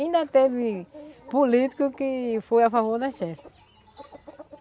Ainda teve político que foi a favor da.